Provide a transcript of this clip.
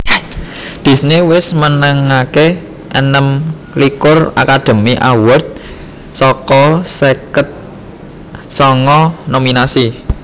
Disney wis menangaké enem likur Academy Awards saka seket sanga nominasi